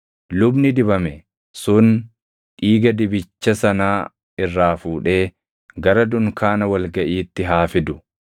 Lubni dibame sun dhiiga dibicha sanaa irraa fuudhee gara dunkaana wal gaʼiitti haa fidu.